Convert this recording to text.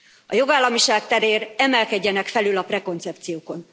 A jogállamiság terén emelkedjenek felül a prekoncepciókon.